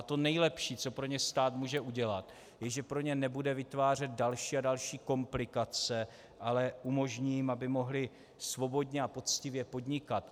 A to nejlepší, co pro ně stát může udělat, je, že pro ně nebude vytvářet další a další komplikace, ale umožní jim, aby mohli svobodně a poctivě podnikat.